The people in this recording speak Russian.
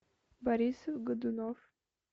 борис годунов